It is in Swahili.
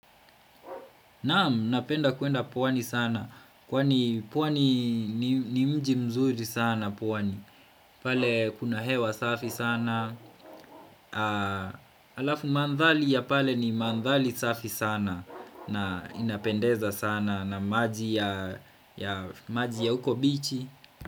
Naam, napenda kwenda pwani sana, kwani pwani ni mji mzuri sana pwani, pale kuna hewa safi sana, alafu mandhari ya pale ni mandhari safi sana na inapendeza sana na maji ya maji ya uko beach.